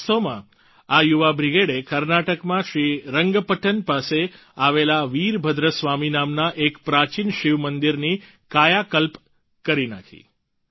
વાસ્તવમાં આ યુવા બ્રિગેડે કર્ણાટકમાં શ્રી રંગપટ્ટન પાસે આવેલા વીરભદ્ર સ્વામી નામના એક પ્રાચીન શિવમંદિરની કાયાકલ્પ કરી નાખી